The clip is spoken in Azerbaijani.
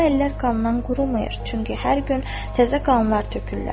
O əllər qandan qurumur, çünki hər gün təzə qanlar tökürlər.